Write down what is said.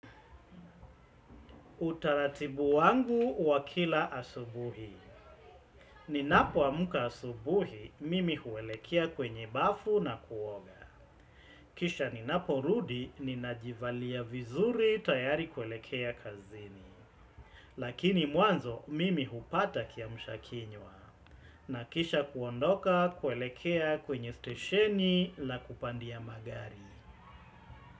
Utaratibu wangu wa kila asubuhi. Ninapoamka asubuhi mimi huelekea kwenye bafu na kuoga. Kisha ninaporudi ninajivalia vizuri tayari kuelekea kazini. Lakini mwanzo mimi hupata kiamsha kinywa. Na kisha kuondoka kuelekea kwenye stesheni la kupandia magari.